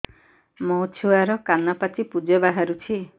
ମୋ ଛୁଆର କାନ ପାଚି ପୁଜ ବାହାରୁଛି